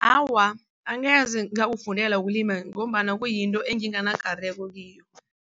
Awa, angeze ngawufundela wokulima ngombana kuyinto enginganakareko kiyo.